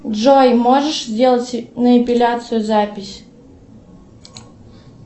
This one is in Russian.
джой можешь сделать на эпиляцию запись